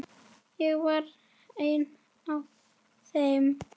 Ég var ein af þeim.